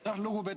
Tänan!